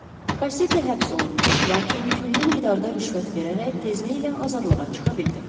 Kassete həbs olundu, lakin külli miqdarda rüşvət verərək tezliklə azadlığa çıxa bildi.